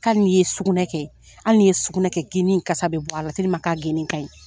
Hali nin ye sugunɛ kɛ ,hali ni ye sugunɛ kɛ geni in kasa be bɔ a la k'a geni in ka ɲi.